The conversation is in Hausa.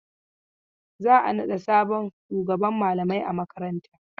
Za a naɗa sabon shugaban malamai a makaranta.